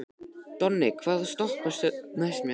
Donni, hvaða stoppistöð er næst mér?